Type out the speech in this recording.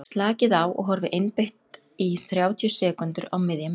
slakið á og horfið einbeitt í um þrjátíu sekúndur á miðja myndina